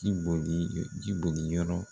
Ji boli ji boli yɔrɔ.